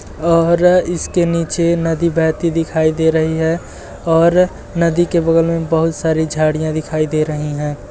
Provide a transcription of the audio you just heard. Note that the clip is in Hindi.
और इसके नीचे नदी बहती दिखाई दे रही है और नदी के बगल में बहोत सारी झाड़ियाँ दिखाई दे रही हैं।